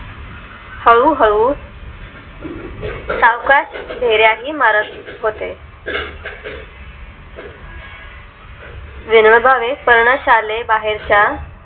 हळूहळू सावकाश फ्हेर्या ही मारत होते विनोबा भावे पणा शाले बाहेरच्या